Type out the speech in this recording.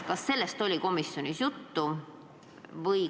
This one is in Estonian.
Kas sellest oli komisjonis juttu?